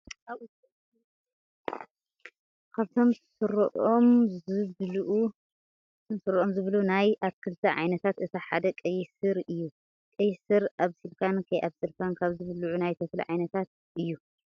ካብቶም ስሮም ዝብልኡ ናይ ኣትኽልቲ ዓይነታት እቲ ሓደ ቀይሕ ስር እዩ። ቀይሕ ስር ኣብሲልካን ከይኣብሰልካን ካብ ዝብልዑ ናይ ተክሊ ዓይነታት እዩ።